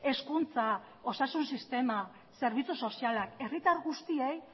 hezkuntza osasun sistema zerbitzu sozialak herritar guztiek